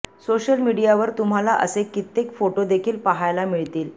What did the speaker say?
social मीडियावर तुम्हाला असे कित्येक फोटो देखील पाहायला मिळतील